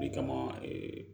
O de kama